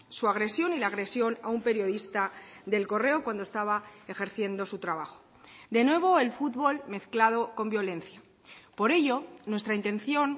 su agresión y la agresión a un periodista de el correo cuando estaba ejerciendo su trabajo de nuevo el fútbol mezclado con violencia por ello nuestra intención